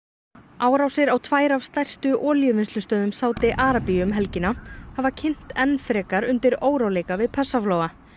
árásir á tvær af stærstu Sádi Arabíu um helgina hafa kynt enn frekar undir óróleika við Persaflóa